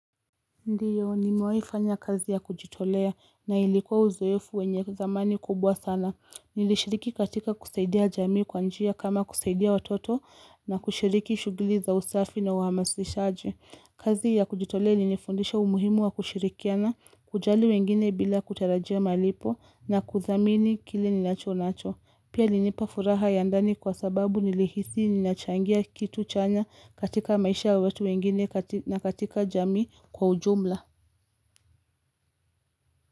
Ndio nimewahi kufanya kazi ya kujitolea na ilikuwa uzoefu wenye zamani kubwa sana. Nilishiriki katika kusaidia jamii kwa njia kama kusaidia watoto na kushiriki shughuli za usafi na uhamasishaji. Kazi ya kujitolea imenifundisha umuhimu wa kushirikiana, kujali wengine bila kutarajia malipo na kuthamini kile ninacho nacho. Pia ilinipa furaha ya ndani kwa sababu nilihisi ninachangia kitu chanya katika maisha ya watu wengine na katika jamii kwa ujumla.